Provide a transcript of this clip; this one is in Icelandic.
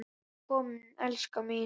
Ertu kominn, elskan mín?